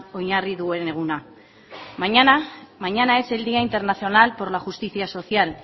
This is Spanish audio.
oinarri duen eguna mañana es el día internacional por la justicia social